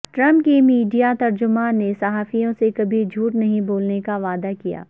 Trump کے media ترجمان نے صحافیوں سے کبھی جھوٹ نہیں بولنے کا وعدہ کیا